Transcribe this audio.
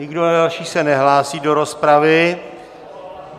Nikdo další se nehlásí do rozpravy.